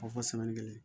Fɔ kelen kelen